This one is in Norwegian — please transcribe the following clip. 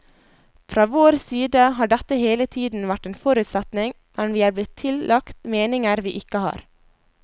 Fra vår side har dette hele tiden vært en forutsetning, men vi er blitt tillagt meninger vi ikke har.